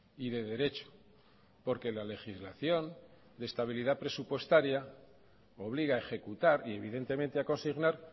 y de derecho porque la legislación de estabilidad presupuestaria obliga a ejecutar y evidentemente a consignar